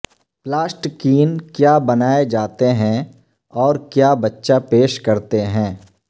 plasticine کیا بنائے جاتے ہیں اور کیا بچہ پیش کرتے ہیں